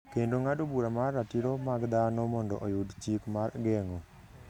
kendo ng’ado bura mar Ratiro mag Dhano mondo oyud chik mar geng’o.